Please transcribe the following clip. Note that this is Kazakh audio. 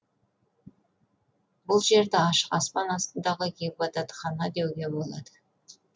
бұл жерді ашық аспан астындағы ғибадатхана деуге болады